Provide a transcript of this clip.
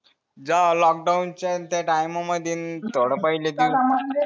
जेव्हा lockdown च्या त्या टायमा मध्ये थोडा पहिले